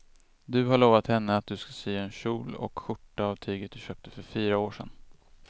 Du har lovat henne att du ska sy en kjol och skjorta av tyget du köpte för fyra år sedan.